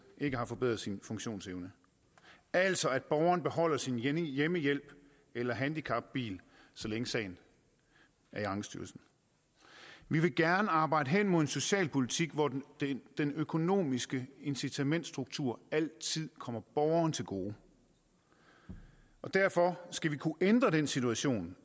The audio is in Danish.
ikke har forbedret sin funktionsevne altså at borgeren skal beholde sin hjemmehjælp eller handicapbil så længe sagen er i ankestyrelsen vi vil gerne arbejde hen imod en socialpolitik hvor den den økonomiske incitamentsstruktur altid kommer borgeren til gode derfor skal vi kunne ændre den situation